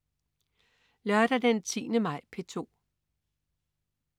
Lørdag den 10. maj - P2: